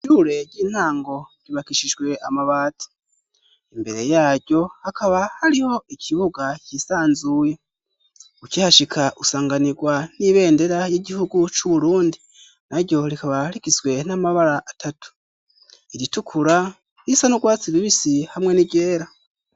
Shure ry'intango ribakishijwe amabati. Imbere yaryo hakaba hariho ikibuga cisanzuye ukihashika usanganirwa n'ibendera y'igihugu c'uburundi, naryo rikaba rigizwe n'amabara atatu iritukura ,risanurwatsi rubisi, hamwe n'iryera.